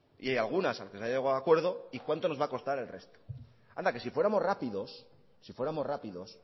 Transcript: y algunas a las que se ha llegado a acuerdo y cuánto nos va a costar al resto anda que si fuéramos rápidos si fuéramos rápidos